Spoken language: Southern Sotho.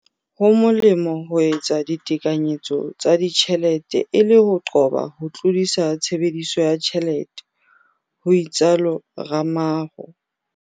"Ho molemo ho etsa ditekanyetso tsa ditjhelete e le ho qoba ho tlodisa tshebediso ya tjhelete," ho itsalo Ramalho.